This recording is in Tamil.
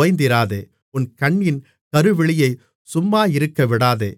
ஓய்ந்திராதே உன் கண்ணின் கருவிழியை சும்மாயிருக்கவிடாதே